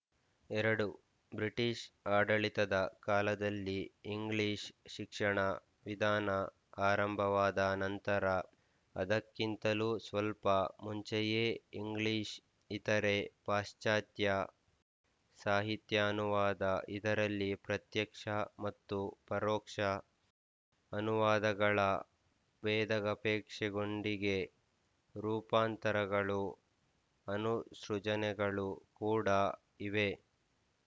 ಎರಡು ಬ್ರಿಟಿಶ್ ಆಡಳಿತದ ಕಾಲದಲ್ಲಿ ಇಂಗ್ಲಿಶ್ ಶಿಕ್ಷಣ ವಿಧಾನ ಆರಂಭವಾದನಂತರ ಅದಕ್ಕಿಂತಲೂ ಸ್ವಲ್ಪ ಮುಂಚೆಯೇ ಇಂಗ್ಲಿಶ್ ಇತರೆ ಪಾಶ್ಚತ್ಯ ಸಾಹಿತ್ಯಾನುವಾದ ಇದರಲ್ಲಿ ಪ್ರತ್ಯಕ್ಷ ಮತ್ತು ಪರೋಕ್ಷ ಅನುವಾದಗಳ ವೇದಗ ಅಪೇಕ್ಷೆಯೊಂದಿಗೆ ರೂಪಾಂತರಗಳು ಅನುಸೃಜನೆಗಳು ಕೂಡಾ ಇವೆ